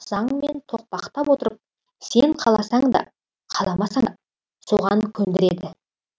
заңмен тоқпақтап отырып сен қаласаң да қаламасаң да соған көндіреді